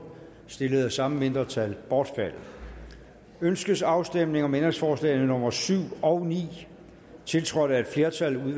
stillet af samme mindretal bortfaldet ønskes afstemning om ændringsforslag nummer syv og ni tiltrådt af et flertal